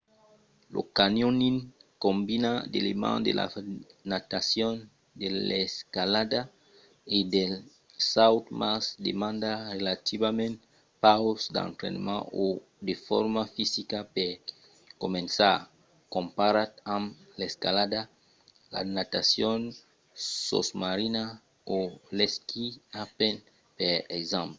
lo canyoning combina d'elements de la natacion de l'escalada e del saut--mas demanda relativament pauc d'entrainament o de forma fisica per començar comparat amb l'escalada la natacion sosmarina o l'esquí alpin per exemple